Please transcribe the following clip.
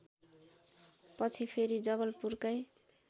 पछि फेरि जवलपुरकै